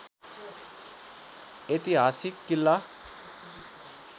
ऐतिहासिक किल्ला